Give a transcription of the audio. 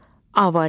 A variantı.